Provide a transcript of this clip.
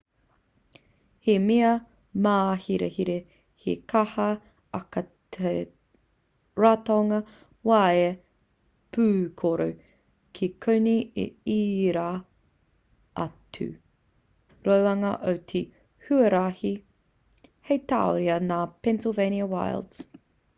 he mea māhirahira he kaha ake te ratonga waea pūkoro ki konei i ērā atu roanga o te huarahi hei tauira ngā pennsylvania wilds